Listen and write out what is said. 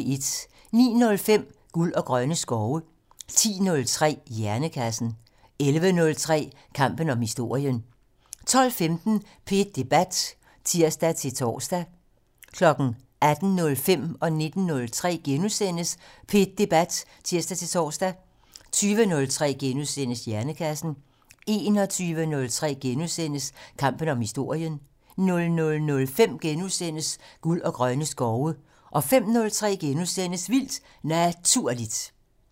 09:05: Guld og grønne skove 10:03: Hjernekassen 11:03: Kampen om historien 12:15: P1 Debat (tir-tor) 18:05: P1 Debat *(tir-tor) 19:03: P1 Debat *(tir-tor) 20:03: Hjernekassen * 21:03: Kampen om historien * 00:05: Guld og grønne skove * 05:03: Vildt Naturligt *